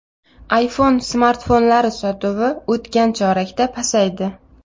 iPhone smartfonlari sotuvi o‘tgan chorakda pasaydi.